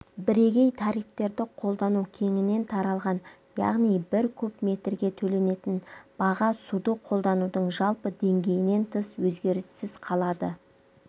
бірегей тарифтерді қолдану кеңінен таралған яғни бір куб метрге төленетін баға суды қолданудың жалпы деңгейінен тыс өзгеріссіз қалады